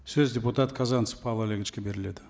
сөз депутат казанцев павел олеговичке беріледі